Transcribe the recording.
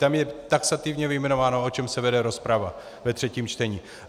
Tam je taxativně vyjmenováno, o čem se vede rozprava ve třetím čtení.